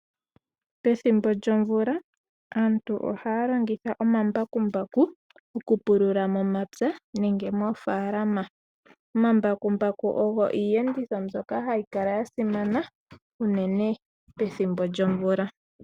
Pethimbo lyomvula aantu ohaa longitha omambakumbaku okupulula momapya nenge moofaalama. Omambakumbaku ogo iiyenditho mbyoka hayi kala ya simana unene pethimbo lyomvula.